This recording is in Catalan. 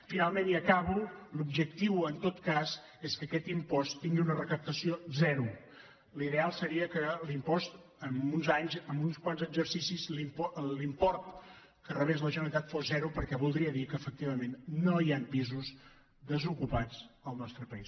finalment i acabo l’objectiu en tot cas és que aquest impost tingui una recaptació zero l’ideal seria que l’impost d’aquí a uns anys d’aquí a uns quants exercicis l’import que en rebés la generalitat fos zero perquè voldria dir efectivament que no hi han pisos desocupats al nostre país